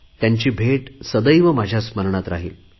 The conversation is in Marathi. त्यांची भेट सदैव माझ्या स्मरणात राहील